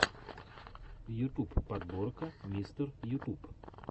ютуб подборка мистер ютуб